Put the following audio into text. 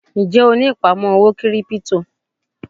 Ń jẹ́ ó ní ìpamọ́ owó kírípítò?